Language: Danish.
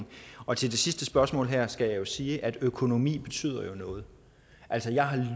og til det sidste spørgsmål her skal jeg jo sige at økonomi betyder noget altså jeg har